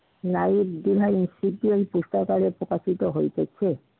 Life behind তৃতীয় পুস্তকারে প্রকাশিত হইতেছে।